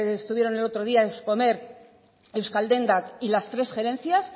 estuvieron el otro día euskomer euskaldendak y las tres gerencias